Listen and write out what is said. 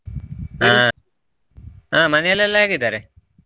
ಹಾ ಹಾ ಮನೇಲೆಲ್ಲ ಹೇಗಿದ್ದಾರೆ?